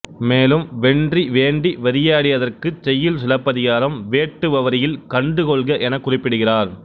மேலும் வென்றி வேண்டி வெறியாடியதற்குச் செய்யுள் சிலப்பதிகாரம் வேட்டுவவரியில் கண்டுகொள்க எனக் குறிப்பிடுகிறார்